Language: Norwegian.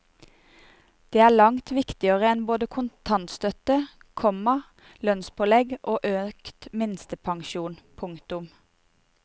Det er langt viktigere enn både kontantstøtte, komma lønnspålegg og økt minstepensjon. punktum